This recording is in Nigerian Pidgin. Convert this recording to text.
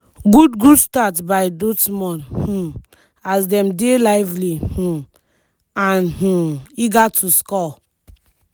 good good start by dortmund um as dem dey lively um an um eager to score.